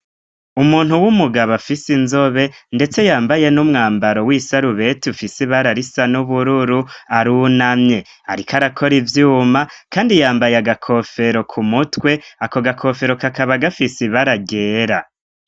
Umuntu w'umugabo afise inzobe ndetse yambaye n'umwambaro w'isarubeti ufise ibara risa n'ubururu, arunamye . Ariko arakora ivyuma kandi yambaye agakofero ku mutwe, ako gakofero kakaba gafise ibara ryera.